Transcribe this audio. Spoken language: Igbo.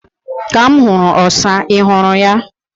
Ka m huru osa. Ị hụrụ ya?